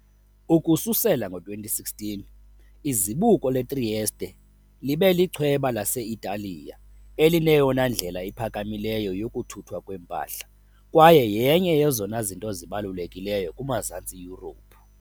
Ukususela ngo-2016, izibuko le-Trieste libe lichweba lase-Italiya elineyona ndlela iphakamileyo yokuthuthwa kwempahla kwaye yenye yezona zinto zibalulekileyo kumazantsi Yurophu.